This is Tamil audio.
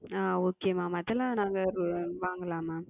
ஆஹ் Okay Ma'am அதெல்லாம் நாங்க வாங்கலாமா?